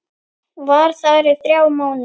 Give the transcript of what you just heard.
Var þar í þrjá mánuði.